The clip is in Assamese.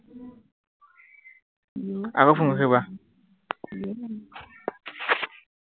আকৌ phone কৰিছো কোৱা